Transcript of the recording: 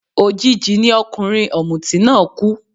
Òjijì ni ọkùnrin ọ̀mùtí náà kú